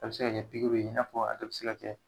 A bi se ka kɛ pikiriw ye, i n'a fɔ a bi se ka kɛ